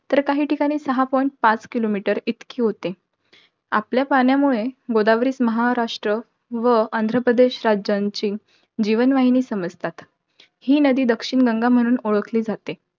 तर काही ठिकाणी सहा point पाच kilometer इतकी होते. आपल्या पाण्यामुळे, गोदावरी महाराष्ट्र व आंध्रप्रदेश राज्यांची जीवनवाहिनी समजतात. ही नदी दक्षिण गंगा म्हणून ओळखली जाते.